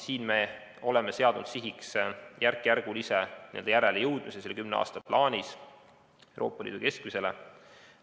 Siin me oleme seadnud sihiks järkjärgulise järelejõudmise kümne aasta plaanis Euroopa Liidu keskmisele.